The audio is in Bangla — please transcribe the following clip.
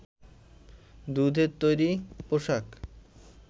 দুধের তৈরি পোশাক